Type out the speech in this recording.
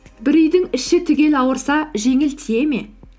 бір үйдің іші түгел ауырса жеңіл тие ме